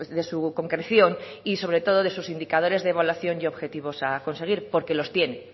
de su concreción y sobre todo de sus indicadores de evaluación y objetivos a conseguir porque los tiene